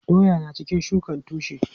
Doya na cikin shukan tushe.